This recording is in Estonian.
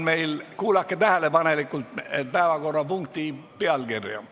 Kuulake tähelepanelikult päevakorrapunkti pealkirja.